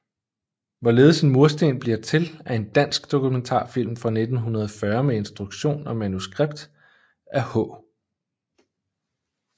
Hvorledes en mursten bliver til er en dansk dokumentarfilm fra 1940 med instruktion og manuskript af H